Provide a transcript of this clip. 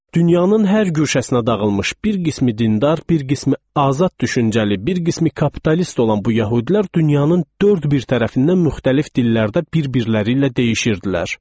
Dünyanın hər guşəsinə dağılmış bir qismi dindar, bir qismi azad düşüncəli, bir qismi kapitalist olan bu yəhudilər dünyanın dörd bir tərəfindən müxtəlif dillərdə bir-birləri ilə deyişirdilər.